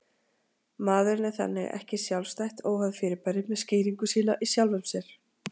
Maðurinn er þannig ekki sjálfstætt, óháð fyrirbæri með skýringu sína í sjálfum sér